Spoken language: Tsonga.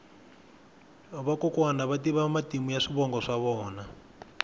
vakokwani va tiva matimu ya swivongo swa vona